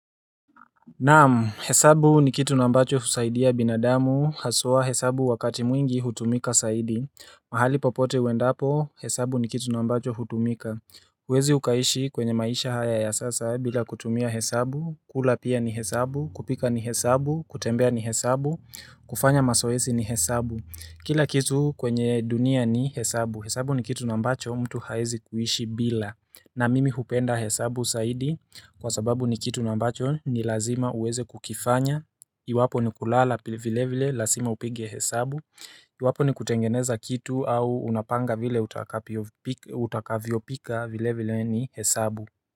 Naam, hesabu ni kitu nambacho usaidia binadamu, hasoa hesabu wakati mwingi hutumika saidi, mahali popote wendapo hesabu ni kitu nambacho hutumika uwezi ukaishi kwenye maisha haya ya sasa bila kutumia hesabu, kula pia ni hesabu, kupika ni hesabu, kutembea ni hesabu, kufanya masoesi ni hesabu Kila kitu kwenye dunia ni hesabu. Hesabu ni kitu nambacho mtu haizi kuishi bila. Na mimi hupenda hesabu saidi kwa sababu ni kitu nambacho ni lazima uweze kukifanya. Iwapo ni kulala vile vile la sima upige hesabu. Iwapo ni kutengeneza kitu au unapanga vile utakavyo pika vile vile ni hesabu.